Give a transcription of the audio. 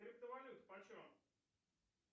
криптовалюта по чем